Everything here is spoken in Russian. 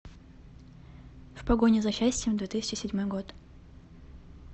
в погоне за счастьем две тысячи седьмой год